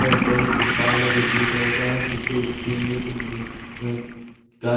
ऊपर में तिरपाल है जो ब्लू कलर का है पीछे ग्रीन ग्रीन कुछ अ गा --